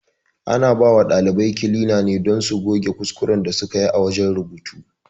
Ana bawa ɗalibai kilina ne don su goge kuskuren da sukayi a wajen rubutu